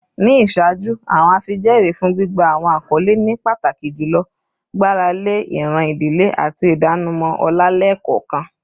Ni iṣaaju, awọn afijẹẹri fun gbigba awọn akọle ni pataki julọ gbarale iran idile ati idanimọ ọlá lẹẹkọọkan.